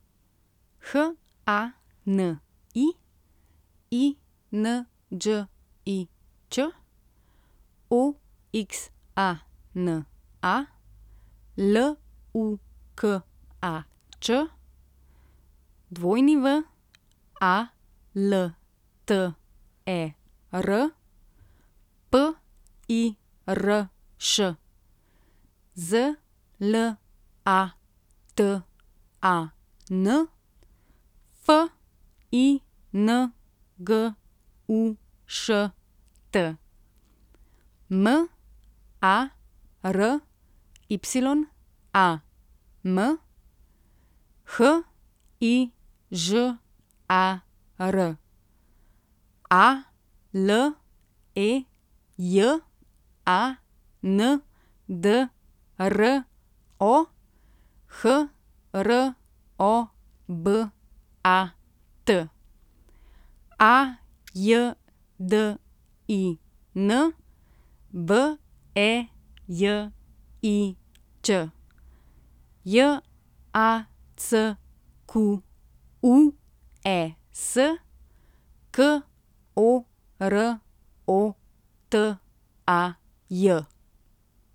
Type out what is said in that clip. H A N I, I N Đ I Ć; O X A N A, L U K A Č; W A L T E R, P I R Š; Z L A T A N, F I N G U Š T; M A R Y A M, H I Ž A R; A L E J A N D R O, H R O B A T; A J D I N, V E J I Ć; J A C Q U E S, K O R O T A J.